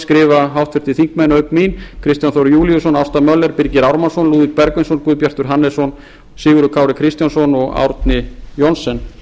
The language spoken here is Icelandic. skrifa háttvirtir þingmenn auk mín kristján þór júlíusson ásta möller birgir ármannsson lúðvík bergvinsson guðbjartur hannesson sigurður kári kristjánsson og árni johnsen